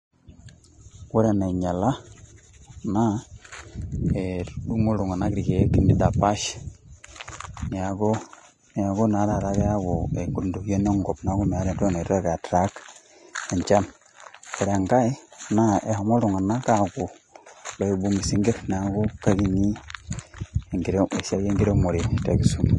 Ore enainyiala naa, eh etudungo iltunganak irkeek nidapash. Neaku naa taata keyaku ekidunget enkop neaku meeta etoki naitoki ai attract enchan. Ore enkae naa eshomo iltunganak apuo loipung isinkir neaku kekinyi esiai ekiremore te kisumu.